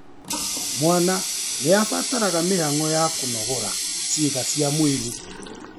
Mwana nĩarabatara mĩhang'o ya kũnogora ciĩga cia mwĩrĩ